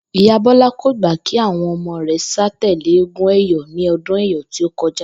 Ìyá Bó̩lá kò gbà kí àwo̩n o̩mo̩ rè̩ sà tèlé eégún è̩yó̩ ní o̩dún è̩yó̩ tí ó ko̩já